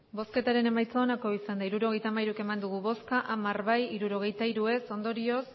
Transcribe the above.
hirurogeita hamairu eman dugu bozka hamar bai hirurogeita hiru ez ondorioz